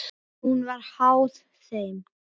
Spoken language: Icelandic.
Hún var háð þeim.